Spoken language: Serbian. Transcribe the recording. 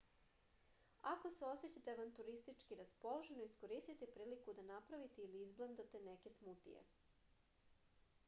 ako se osećate avanturistčki raspoloženo iskoristite priliku da napravite ili izblendate neke smutije